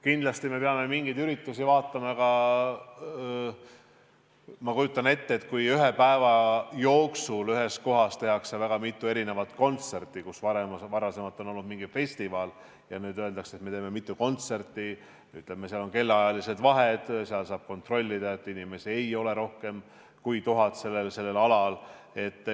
Kindlasti peame vaatama ka mingeid selliseid üritusi, ma kujutan ette, et ühe päeva jooksul ühes kohas tehakse väga mitu kontserti, varem oli mingi festival ja nüüd öeldakse, et me teeme mitu kontserti, seal on kellaajalised vahed, seal saab kontrollida, et inimesi ei ole rohkem kui 1000 sellel alal.